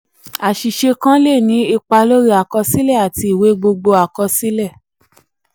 àṣìṣe kan le ni ipa lórí àkọsílẹ àti ìwé gbogbo àkọsílẹ. àkọsílẹ.